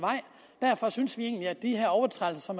derfor synes vi egentlig at de her overtrædelser